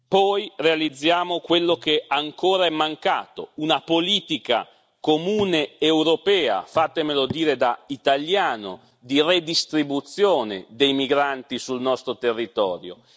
poi realizziamo quello che ancora è mancato una politica comune europea fatemelo dire da italiano di redistribuzione dei migranti sul nostro territorio.